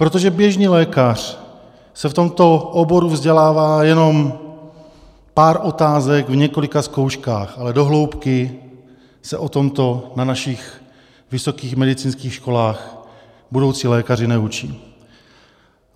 Protože běžný lékař se v tomto oboru vzdělává jenom pár otázek v několika zkouškách, ale do hloubky se o tomto na našich vysokých medicínských školách budoucí lékaři neučí.